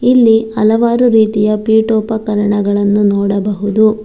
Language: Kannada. ಇಲ್ಲಿ ಹಲವಾರು ರೀತಿಯ ಪೀಠೋಪಕರಣಗಳನ್ನು ನೋಡಬಹುದು.